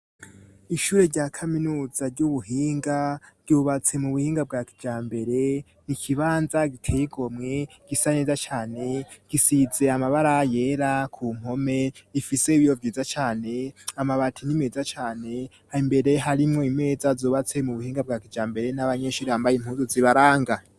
Ishure rya Kaminuza ry'ubuhinga, ryubatse mu buhinga bwa kijambere, n'ikibanza giteye igomwe, gisa neza cane, gisize amabara yera ku mpome, rifise ibiyo vyiza cane, amabati ni meza cane, imbere harimwo imeza zubatse mu buhinga bwa kijambere, n'abanyeshure bambaye impuzu zibaranga.